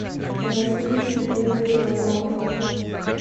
назией сергеевной пермяковой